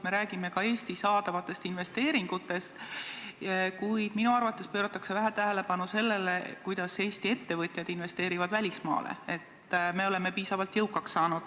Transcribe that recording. Me räägime ka Eesti saadavatest investeeringutest, kuid minu arvates pööratakse vähe tähelepanu sellele, kui palju Eesti ettevõtjad investeerivad välismaal, nii et me oleme piisavalt jõukaks saanud.